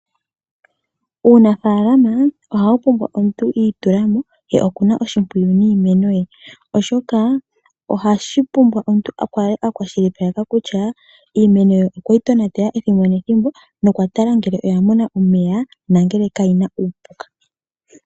Uunafalama ohawu pumbwa omuntu iitulamo, ye okuna oshimpwiyu niimeno ye, oshoka ohashi pumbwa omuntu a kale akwashilipaleka kutya, iimeno ye okweyi tonatela ethimbo nethimbo, nokwa tala ngele oya mona omeya na ngele ka yina uupuka.